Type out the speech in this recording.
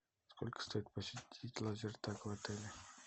сколько стоит посетить лазертаг в отеле